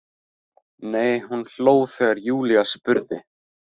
Nei, hún hló þegar Júlía spurði.